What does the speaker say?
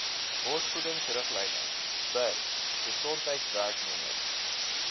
borsvoedingsriglyne bir gesondheidswerkers